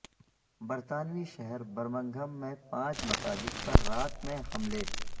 برطانوی شہر برمنگھم میں پانچ مساجد پر رات میں حملے